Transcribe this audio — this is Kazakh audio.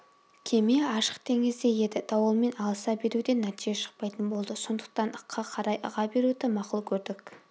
кеме ашық теңізде еді дауылмен алыса беруден нәтиже шықпайтын болды сондықтан ыққа қарай ыға беруді мақұл көрдік